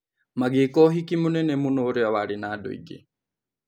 Magĩka ũhiki mũnene mũno ũrĩa warĩ na andũ aingĩ.